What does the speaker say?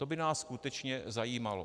To by nás skutečně zajímalo.